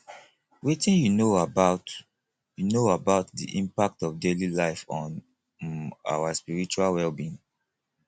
wetin you know about you know about di impact of daily life on um our spiritual wellbeing